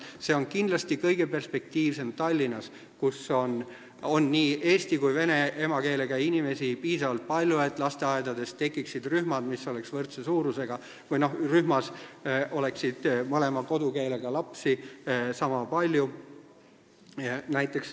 See on kindlasti kõige perspektiivsem Tallinnas, kus on nii eesti kui ka vene emakeelega inimesi piisavalt palju, et lasteaedades tekiksid rühmad, kus oleks mõlema kodukeelega lapsi sama palju.